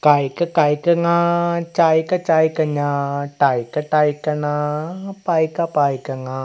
ക ഖ ഗ ഘ ങ ച ക ച ക ഞ ട ക ട ക ണ പ ക പ ക ങ.